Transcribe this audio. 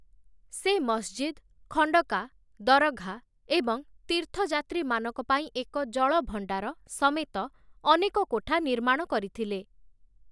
ସେ ମସଜିଦ, ଖଣ୍ଡକା (ମଠ), ଦରଘା (ପ୍ରଭାବଶାଳୀ ଲୋକଙ୍କ ମନ୍ଦିର କିମ୍ବା କବର) ଏବଂ ତୀର୍ଥଯାତ୍ରୀମାନଙ୍କ ପାଇଁ ଏକ ଜଳଭଣ୍ଡାର (ହାୱାଜ) ସମେତ ଅନେକ କୋଠା ନିର୍ମାଣ କରିଥିଲେ ।